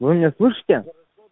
вы меня слышите